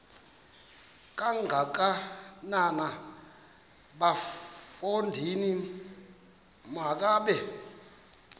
kangakanana bafondini makabe